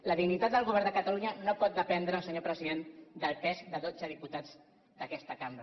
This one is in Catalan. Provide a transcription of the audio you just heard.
la dignitat del govern de catalunya no pot dependre senyor president del pes de dotze diputats d’aquesta cambra